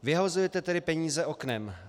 Vyhazujete tedy peníze oknem.